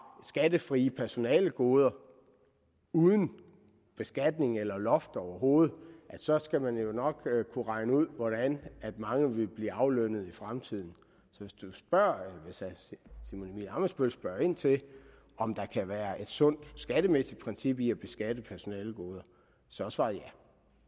skattefrie personalegoder uden beskatning eller loft overhovedet så skal man nok kunne regne ud hvordan mange vil blive aflønnet i fremtiden så hvis herre simon emil ammitzbøll spørger ind til om der kan være et sundt skattemæssigt princip i at beskatte personalegoder så er svaret ja